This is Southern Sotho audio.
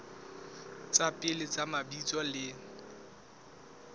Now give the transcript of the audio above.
tsa pele tsa mabitso le